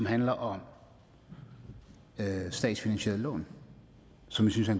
handler om statsfinansieret lån som vi synes er